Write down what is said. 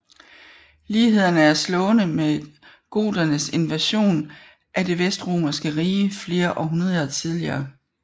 Lighederne er slående med goternes invasion af Det vestromerske Rige flere århundreder tidligere